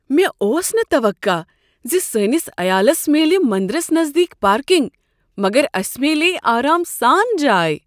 مےٚ اوس نہٕ توقع ز سٲنس عیالس میلہ مندرس نزدیٖک پارکنگ، مگر اسہ میلیٛیہ آرام سان جاے۔